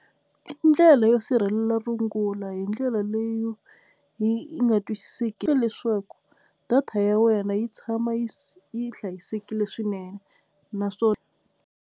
I ndlela yo sirhelela rungula hi ndlela leyo yi nga twisiseki leswaku data ya wena yi tshama yi yi hlayisekile swinene naswona.